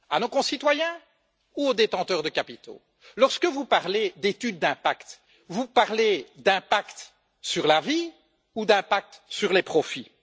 À nos concitoyens ou aux détenteurs de capitaux? Lorsque vous parlez d'analyse d'impact, vous parlez d'impact sur la vie ou d'impact sur les profits?